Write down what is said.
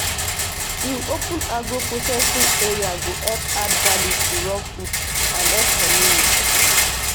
to open agro processing area go help add value to raw food and help community.